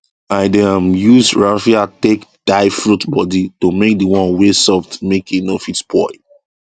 i dey um use raffia take tie fruit body so make d one wey soft make e no fit spoil